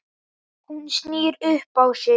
Hún snýr upp á sig.